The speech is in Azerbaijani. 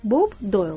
Bob Doyil.